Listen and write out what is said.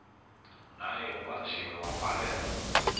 naye ubanjiwe wavalelwa